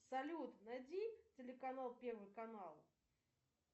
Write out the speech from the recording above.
салют найди телеканал первый канал